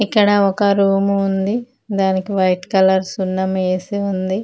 ఇక్కడ ఒక రూమ్ ఉంది దానికి వైట్ కలర్ సున్నం వేసి ఉంది.